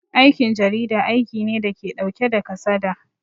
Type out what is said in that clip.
Aikin jarida aiki ne dake ɗauke da kasada